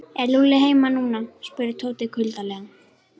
Er Lúlli heima núna? spurði Tóti kuldalega.